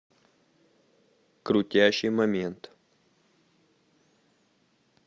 крутящий момент